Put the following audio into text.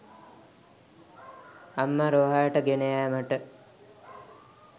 අම්මා රෝහලට ගෙන යෑමට